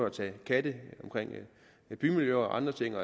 at tage katte i bymiljøer og andre ting